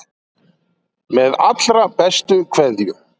Með allra bestu kveðjum.